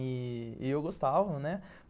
E eu gostava, né?